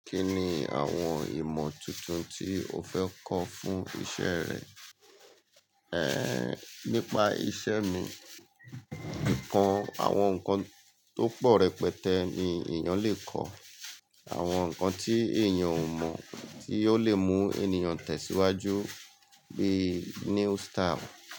Kí ni àwọn ìmọ̀ tuntun tí o fẹ́ kọ́ fún iṣẹ́ rẹ? Ehn, nípa iṣẹ́ mi, nǹkan, àwọn nǹkan tó pọ̀ rẹpẹtẹ ni èèyàn lè kọ́. Àwọn nǹkan tí èèyàn ò mọ̀ tí ò lè mú ènìyàn tẹ̀síwájú bí new style.